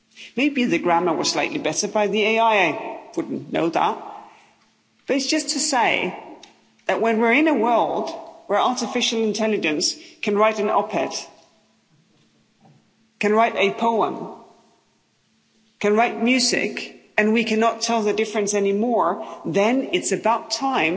Maybe the grammar was slightly better by the AI I wouldn't know, but it's just to say that when we're in a world where artificial intelligence can write an op ed, can write a poem, can write music, and we cannot tell the difference anymore, then it's about time